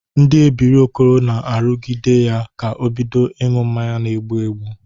Ndị ebiri Okoro na-arụgide ya ka o bidịo ịṅụ mmanya na-egbu egbu.